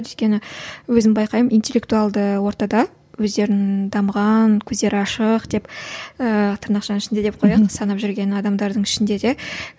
өзім байқаймын интеллектуалды ортада өздерін дамыған көздері ашық деп ііі тырнақшаның ішінде деп қояйық санап жүрген адамдардың ішінде де